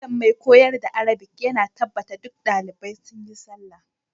Malam mai koyar da arabic ya na tabbata duk dalibai sun yi sallah.